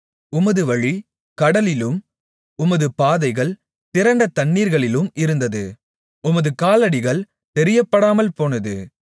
உமது வழி கடலிலும் உமது பாதைகள் திரண்ட தண்ணீர்களிலும் இருந்தது உமது காலடிகள் தெரியப்படாமல்போனது